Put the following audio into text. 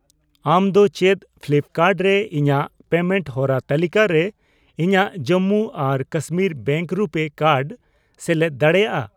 ᱟᱢ ᱫᱚ ᱪᱮᱫ ᱯᱷᱞᱤᱯᱠᱟᱨᱰ ᱨᱮ ᱤᱧᱟ.ᱜ ᱯᱮᱢᱮᱱᱴ ᱦᱚᱨᱟ ᱛᱟᱹᱞᱤᱠᱟ ᱨᱮ ᱤᱧᱟᱜ ᱡᱚᱢᱢᱩ ᱟᱨ ᱠᱟᱥᱢᱤᱨ ᱵᱮᱝᱠ ᱨᱩᱯᱮ ᱠᱟᱨᱰ ᱥᱮᱞᱮᱫ ᱫᱟᱲᱮᱭᱟᱜᱼᱟ ?